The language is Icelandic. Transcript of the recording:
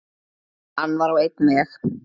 Hann var á einn veg.